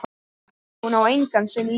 Hún á engan sinn líka.